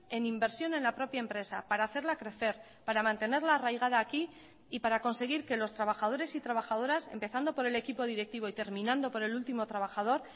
en inversión en la propia empresa para hacerla crecer para mantenerla arraigada aquí y para conseguir que los trabajadores y trabajadoras empezando por el equipo directivo y terminando por el último trabajador